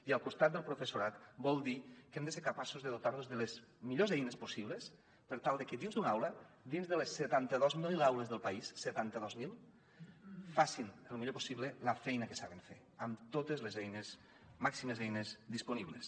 i al costat del professorat vol dir que hem de ser capaços de dotar los de les millors eines possibles per tal de que dins d’una aula dins de les setanta dos mil aules del país setanta dos mil facin el millor possible la feina que saben fer amb totes les eines màximes eines disponibles